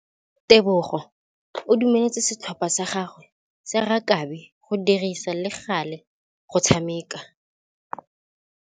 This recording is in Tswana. Tebogô o dumeletse setlhopha sa gagwe sa rakabi go dirisa le galê go tshameka.